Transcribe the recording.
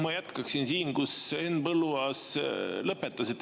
Ma jätkaksin sealt, kus Henn Põlluaas lõpetas.